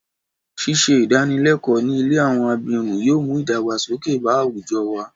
Ṣíṣe ìdánilẹ́kọ̀ọ́ ní ilé àwọn abirùn yóò mú ìdàgbàsókè bá àwùjọ wa.